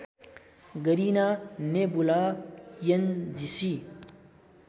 Garena nebula NGC